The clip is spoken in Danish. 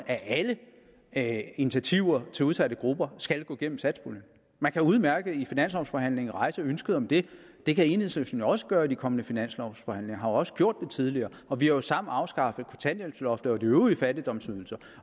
at initiativer til udsatte grupper skal gå gennem satspuljen man kan udmærket i finanslovsforhandlingen rejse ønsket om det det kan enhedslisten jo også gøre ved de kommende finanslovsforhandlinger og har jo også gjort det tidligere og vi har jo sammen afskaffet kontanthjælpsloftet og de øvrige fattigdomsydelser